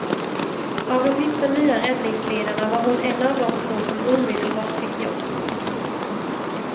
Av de nitton nya räddningsledarna var hon en av två som omedelbart fick jobb.